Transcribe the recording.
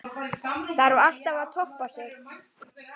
Þarf alltaf að toppa sig?